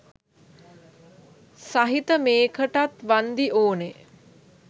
සහිත මේකටත් වන්දි ඕන.